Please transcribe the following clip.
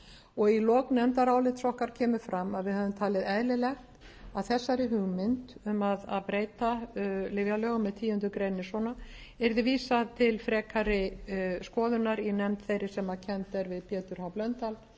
og í lok nefndarálits okkar kemur fram að við hefðum talið eðlilegt að þessari hugmynd um að breyta lyfjalögunum í tíundu grein svona yrði vísað til frekari skoðunar í nefnd þeirra sem kennd er við pétur h blöndal